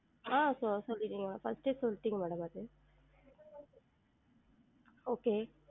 ஆஹ் சொ~ சொல்லி first ஏ சொல்டீங்க madam அது okay